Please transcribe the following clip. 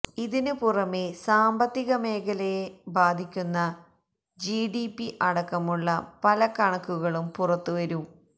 ഇതിന് പുറമേ സാമ്പത്തിക മേഖലയെ ബാധിക്കുന്ന ജി ഡി പി അടക്കമുള്ള പല കണക്കുകളും പുറത്ത് വരും